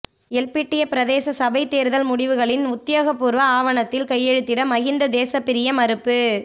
எல்பிட்டிய பிரதேச சபைத் தேர்தல் முடிவுகளின் உத்தியோகப்பூர்வ ஆவணத்தில் கையெழுத்திட மஹிந்த தேசபிரிய மறுப்பு